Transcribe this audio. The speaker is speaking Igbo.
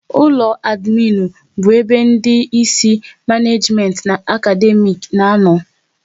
Ụlọ adminu bụ ebe ndị Ịsị maneejimenti na akademiiki na-ano